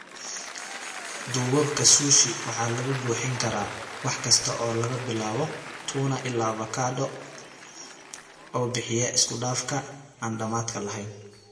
Duubabka Sushi waxaa lagu buuxin karaa wax kasta oo laga bilaabo tuna ilaa avokado, oo bixiya isku-dhafka aan dhammaadka lahayn.